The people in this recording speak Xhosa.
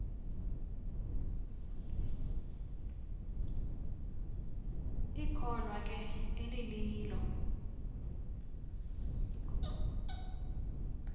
ikholwa ke elililo